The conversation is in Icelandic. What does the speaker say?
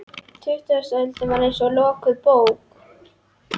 Tuttugasta öldin var eins og lokuð bók.